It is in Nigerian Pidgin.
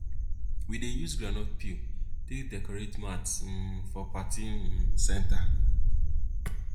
we dey use groundnut peel take decorate mats um for party um center